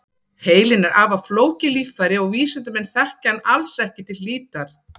Heilinn er afar flókið líffæri og vísindamenn þekkja hann alls ekki til hlítar.